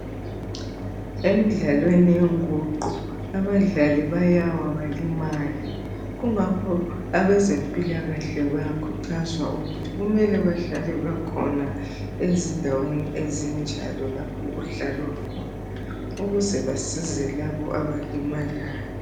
Emidlalweni wenguqu abadlali bayawa balimale. Kungakho abezempilakahle bayakhuthazwa ukuthi kumele bahlale bekhona ezindaweni ezinjalo lapho okudlalwa khona ukuze basize abalimayo.